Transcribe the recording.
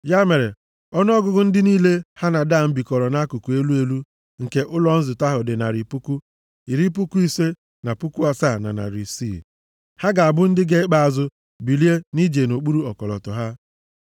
Ya mere ọnụọgụgụ ndị niile ha na Dan bikọrọ nʼakụkụ elu elu nke ụlọ nzute ahụ dị narị puku, iri puku ise na puku asaa na narị isii (157,600). Ha ga-abụ ndị ga-ekpe azụ bilie ije nʼokpuru ọkọlọtọ ha.